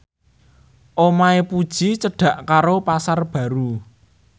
omahe Puji cedhak karo Pasar Baru